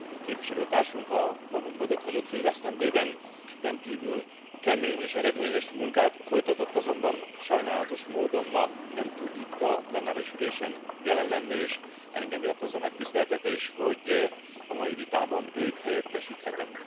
Képviselőtársunk a magunk mögött hagyott fél esztendőben rendkívül kemény és eredményes munkát folytatott, azonban sajnálatos módon ma nem tud itt a plenáris ülésen jelen lenni, és engem ért az a megtiszteltetés, hogy a mai vitában őt helyettesíthetem.